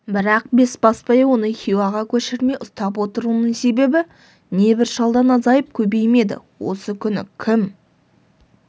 бірақ бесбасбай оны хиуаға көшірмей ұстап отыруының себебі не бір шалдан азайып көбеймейді осы күні кім